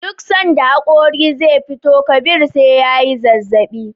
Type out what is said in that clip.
Duk sanda hakori ze fitowa Kabir SE yayi zazzabi